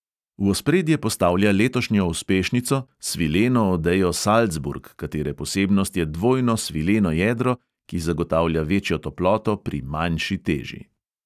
V ospredje postavlja letošnjo uspešnico, svileno odejo salcburg, katere posebnost je dvojno svileno jedro, ki zagotavlja večjo toploto pri manjši teži.